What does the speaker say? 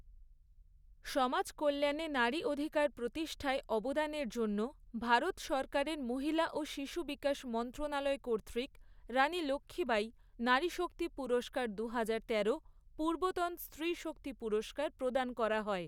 সমাজ কল্যাণে নারী অধিকার প্রতিষ্ঠায় অবদানের জন্য ভারত সরকারের মহিলা ও শিশু বিকাশ মন্ত্ৰণালয় কর্তৃক রাণী লক্ষ্মীবাঈ নারী শক্তি পুরস্কার দুহাজারতেরো পূৰ্বতন স্ত্ৰী শক্তি পুরস্কার প্ৰদান করা হয়।